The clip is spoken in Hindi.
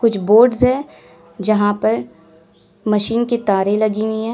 कुछ बोर्ड्स है जहां पर मशीन के तारे लगी हुई हैं।